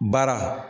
Baara